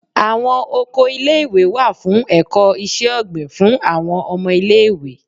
Awọn oko ìlé-ìwé wà fún ẹkọ iṣẹ-ogbin, fún awọn ọmọ ìlé-ìwé